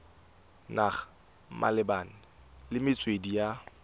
naga malebana le metswedi ya